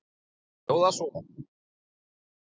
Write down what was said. Hún hljóðar svo